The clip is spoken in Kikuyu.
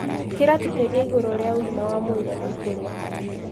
Kĩratũbundithia igũrũ rĩa ũgima wa mwĩrĩ na kũrĩa.